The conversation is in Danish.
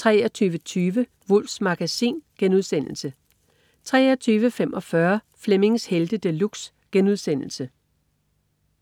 23.20 Wulffs Magasin* 23.45 Flemmings Helte De Luxe*